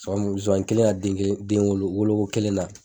Sonsannin kelen ka denwolo kelen na